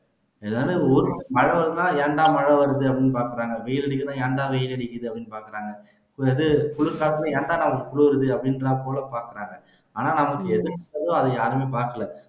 இதான ஊரும் மழை வந்தா ஏண்டா மழை வருது அப்படின்னு பாக்குறாங்க வெயில் அடிக்குதா ஏன்டா வெயில் அடிக்குதுன்னு பாக்குறாங்க குளிர் காத்தா ஏன்டா நமக்கு குளிருது அப்படின்றா போல பாக்குறாங்க ஆனா நமக்கு எது யாருமே அதை பாக்கலை